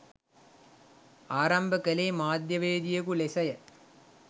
ආරම්භ කළේ මාධ්‍යවේදියකු ලෙසය.